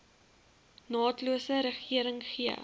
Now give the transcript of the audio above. naatlose regering gee